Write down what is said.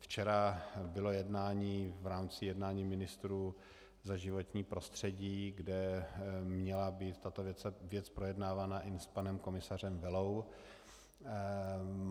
Včera bylo jednání v rámci jednání ministrů za životní prostředí, kde měla být tato věc projednávána i s panem komisařem Vellou.